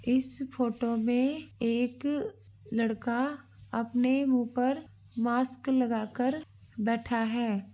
इस फोटो में एक लड़का अपने मुँह पर मास्क लगा कर बैठा है।